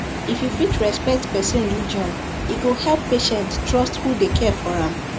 if you fit respect person religion e go help patient trust who dey care for am